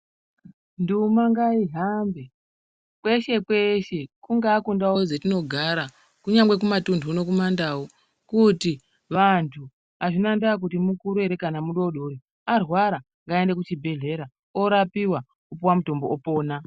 Nduma ngaihambe kweshe kweshe kungave kundau dzatinogara kunyangwe kumatundu kumandau kuti vantu azvina ndava kuti mukuru kana mudodori arwara ngaende kuchibhedhlera orapiwa opuwa mutombo opona.